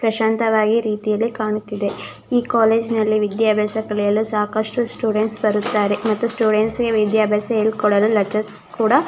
ಪ್ರಶಾಂತ ವಾಗಿ ರೀತಿಯಲ್ಲಿ ಕಾಣುತ್ತಿದೆ ಈ ಕಾಲೇಜು ನಲ್ಲಿ ವಿದ್ಯಾಭ್ಯಾಸ ಕಲಿಯಲು ಸಾಕಷ್ಟು ಸ್ಟೂಡೆಂಟ್ಸ್ ಬರುತ್ತಾರೆ ಮತ್ತು ಸ್ಟೂಡೆಂಟ್ಸ್ ಗೆ ವಿದ್ಯಾಭ್ಯಾಸ ಹೇಳಿಕೊಡಲು ಲೆಕ್ಟುರ್ಸ್ ಕೂಡ--